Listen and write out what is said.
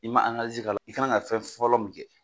I ma k'a la, i ka kan ka fɛn fɔlɔ min kɛ,